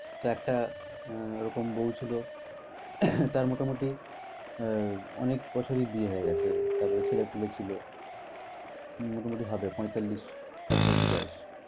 তো একটা আহ এরকম বউ ছিল। তার মোটামুটি আহ অনেক বছরই বিয়ে হয়ে গেছে তারপরে ছেলে পোলে ছিল। মোটামুটি হবে পয়তাল্লিশ কাছাকাছি বয়স।